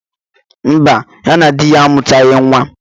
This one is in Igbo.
Mba, ya na di ya amutaghi nwa.